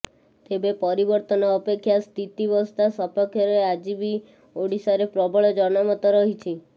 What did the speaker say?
ତେବେ ପରିବର୍ତ୍ତନ ଅପେକ୍ଷା ସ୍ଥିତାବସ୍ଥା ସପକ୍ଷରେ ଆଜି ବି ଓଡିଶାରେ ପ୍ରବଳ ଜନମତ ରହିଛି